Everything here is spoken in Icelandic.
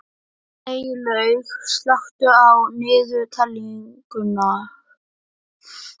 Freylaug, slökktu á niðurteljaranum.